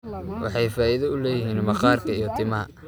Waxay faa'iido u leeyihiin maqaarka iyo timaha.